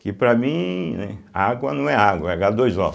Que para mim, né, água não é água, é agá dois ó.